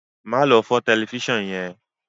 ma lo fọ Tẹlifísàn yén!